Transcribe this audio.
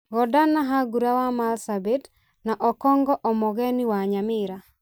Godana Hargura wa Marsabit na Okong'o Omogeni wa Nyamira.